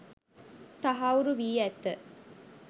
තහවුරුවී ඇත